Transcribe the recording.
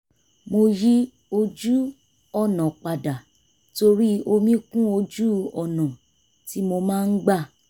mo yí ojú-ọ̀nà padà torí omi kún ojú-ọ̀nà tí mo máa ń gbà